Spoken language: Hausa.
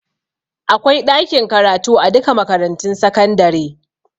Akwai ɗakin karatu a duka makarantun sakandare